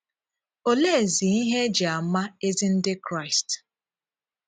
Òleezí ihe e jì àmà ezi Ndị Kraịst?